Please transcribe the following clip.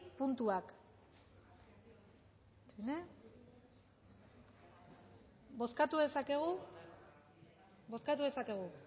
puntuak bozkatu dezakegu